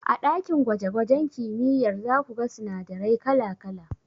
A ɗakin gwaje gwajen kimiyyar zaku ga sinadarai kala kala.